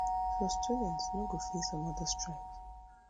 so students no go face anoda strike